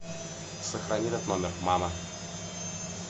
сохрани этот номер мама